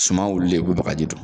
Suma wulilen i be bagaji don